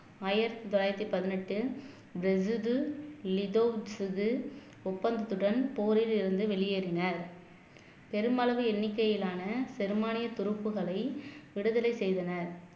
ஆயிரத்தி தொள்ளாயிரத்தி பதினெட்டு ஒப்பந்தத்துடன் போரிலிருந்து வெளியேறினார் பெருமளவு எண்ணிக்கையிலான பெரும்பானிய துருப்புகளை விடுதலை செய்தனர்